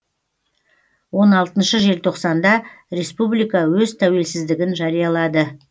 он алтыншы желтоқсанда республика өз тәуелсіздігін жариялады